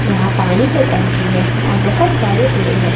यहां पानी का टंकी है और बहुत सारे पेड़ है।